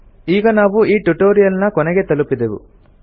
ಈಗ ನಾವು ಈ ಟ್ಯುಟೊರಿಯಲ್ ನ ಕೊನೆಗೆ ತಲುಪಿದೆವು